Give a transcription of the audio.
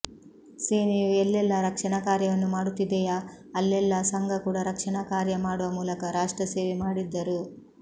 ಸೇನೆಯು ಎಲ್ಲೆಲ್ಲಾ ರಕ್ಷಣಾ ಕಾರ್ಯವನ್ನು ಮಾಡುತ್ತಿದೆಯಾ ಅಲ್ಲೆಲ್ಲಾ ಸಂಘ ಕೂಡ ರಕ್ಷಣಾ ಕಾರ್ಯ ಮಾಡುವ ಮೂಲಕ ರಾಷ್ಟ್ರ ಸೇವೆ ಮಾಡಿದ್ದರು